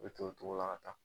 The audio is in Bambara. Be t'o tocogo la ka taa